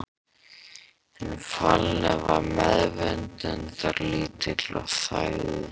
Hinn fallni var meðvitundarlítill og þagði.